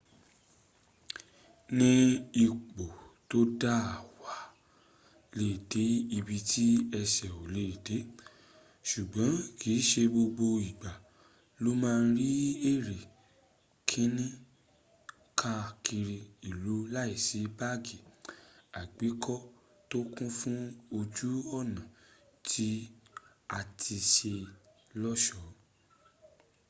ní ipò tó dáa wàá lé de ibi tí ęsẹ̀ ò lè dé - ṣùgbọ́n kìí ṣe gbogbo ìgbà lo ma ri eré skiini kaa kiri ilu láìsí báàgì àgbékọ́ tó kún fún ojú ọ̀nà tí a ti ṣe lọ́ṣọ́